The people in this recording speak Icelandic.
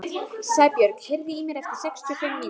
Sæbjörg, heyrðu í mér eftir sextíu og fimm mínútur.